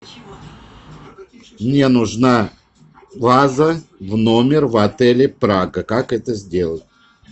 мне нужна ваза в номер в отеле прага как это сделать